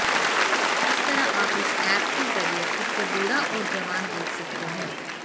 इस तरह आप इस ऐप के जरिए खुद को बूढा और जवान देख सकते हैं